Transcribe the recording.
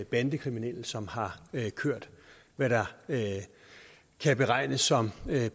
bandekriminelle som har kørt hvad der kan betegnes som